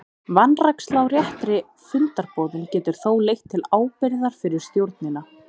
Vanræksla á réttri fundarboðun getur þó leitt til ábyrgðar fyrir stjórnina.